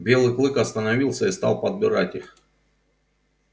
белый клык остановился и стал подбирать их